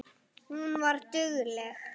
Hún var dugleg.